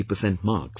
33% marks